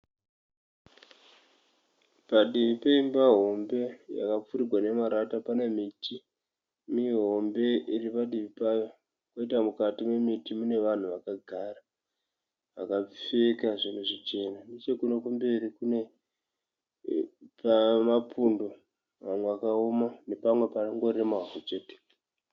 Padivi peimba hombe yakapfirirwa nemarata pane miti mihombe iri padivi payo. Poita mukati nemiti mune vanhu vakagara vakapfeka zvinhu zvichena. Chekuno kumberi kune pane mapundo manwe akaona nepamwe panongori nemavhu chete.